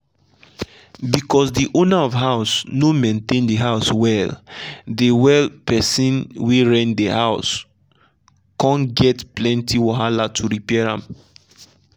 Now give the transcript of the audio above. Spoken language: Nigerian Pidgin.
because de owner of house no maintain de house well de well de person wey rent de house come get plenty wahala to repair am.